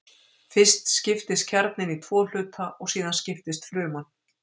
Fyrst skiptist kjarninn í tvo hluta og síðan skiptist fruman.